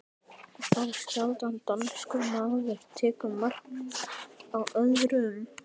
Þá sjaldan danskur maður tekur mark á orðum